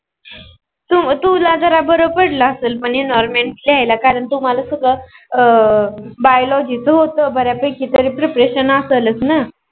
तू तुला जरा पडल असल म्हणजे पण Environment लिहायला कारण अं तुमाला सगळ Biology च होत बऱ्यापैकी Preparation असलच न